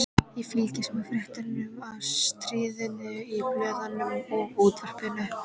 Ég fylgdist með fréttum af stríðinu í blöðunum og útvarpinu.